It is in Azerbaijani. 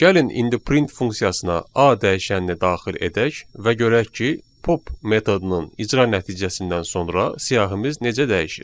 Gəlin indi print funksiyasına A dəyişənini daxil edək və görək ki, pop metodunun icra nəticəsindən sonra siyahımız necə dəyişir.